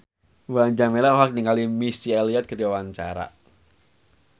Mulan Jameela olohok ningali Missy Elliott keur diwawancara